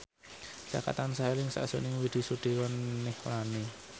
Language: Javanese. Jaka tansah eling sakjroning Widy Soediro Nichlany